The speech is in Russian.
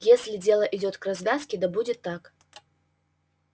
если дело идёт к развязке да будет так